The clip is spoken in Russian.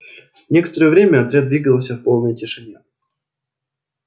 некоторое время отряд двигался в полной тишине